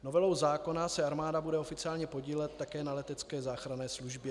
Novelou zákona se armáda bude oficiálně podílet také na letecké záchranné službě.